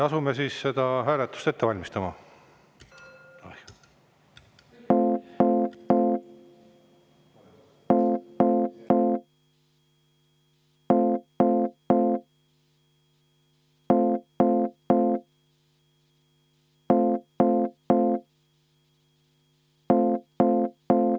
Asume seda hääletust ette valmistama.